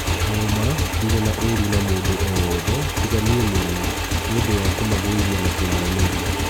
ũma ndĩ rĩ na ũru na mũndũ o wothe tiga niĩ mwene nĩ ũndũ wa kũmagũithia na kũmomĩ ria.